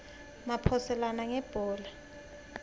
maphoselana ngebhola